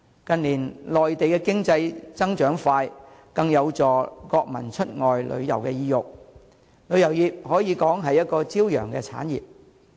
近年內地經濟增長快速，更增加國民出外旅遊意欲，旅遊業可說是朝陽產業。